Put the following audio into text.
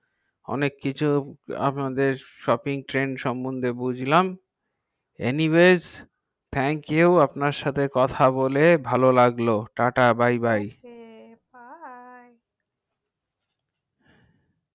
অনেক কিছু আপনাদের swapping trend সমন্ধে বুজলাম anyways thank you আপনার সাথে কথা বলে ভালো লাগলো tata by by by okay bye